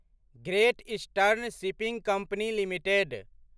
great eastern shipping company limited